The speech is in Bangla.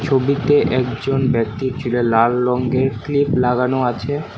ছবিতে একজন ব্যক্তির চুলে লাল রঙ্গের ক্লিপ লাগানো আছে।